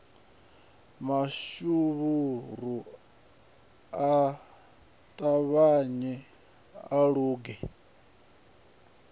mashuvhuru a ṱavhanye a luge